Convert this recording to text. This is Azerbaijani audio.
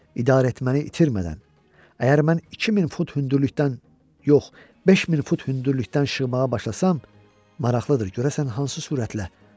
İdarəetməni itirmədən, əgər mən 2000 fut hündürlükdən yox, 5000 fut hündürlükdən şığmağa başlasam, maraqlıdır görəsən hansı sürətlə.